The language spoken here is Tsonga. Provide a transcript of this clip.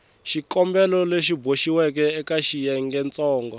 xikombelo lexi boxiweke eka xiyengentsongo